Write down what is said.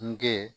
Nge